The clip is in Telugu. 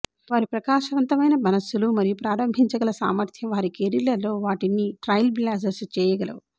వారి ప్రకాశవంతమైన మనస్సులు మరియు ప్రారంభించగల సామర్థ్యం వారి కెరీర్లలో వాటిని ట్రయిల్బ్లాజర్స్ చేయగలవు